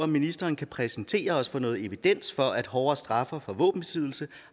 ministeren kan præsentere os for noget evidens for at hårdere straffe for våbenbesiddelse